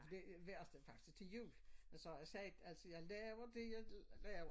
For det værste faktisk til jul jeg sagde jeg sagde altså jeg laver det jeg laver